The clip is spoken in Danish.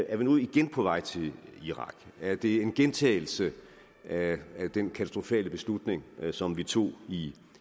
er vi nu igen på vej til irak er det en gentagelse af den katastrofale beslutning som vi tog i